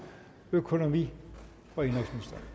økonomi og